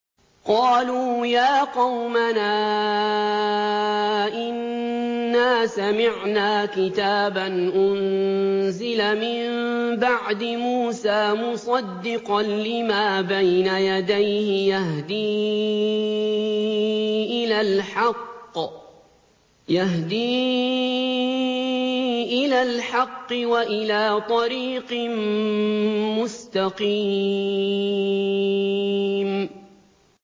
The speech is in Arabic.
قَالُوا يَا قَوْمَنَا إِنَّا سَمِعْنَا كِتَابًا أُنزِلَ مِن بَعْدِ مُوسَىٰ مُصَدِّقًا لِّمَا بَيْنَ يَدَيْهِ يَهْدِي إِلَى الْحَقِّ وَإِلَىٰ طَرِيقٍ مُّسْتَقِيمٍ